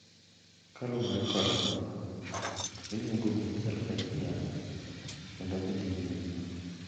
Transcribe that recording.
Kaluwore kodgi, iluongo ji achiel ka achiel kendo gidhi nyime.